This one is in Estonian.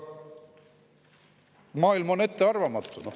Maailm on ettearvamatu.